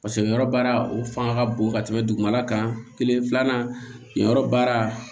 Paseke yɔrɔ baara o fanga ka bon ka tɛmɛ dugumala kan kelen filanan yen yɔrɔ baara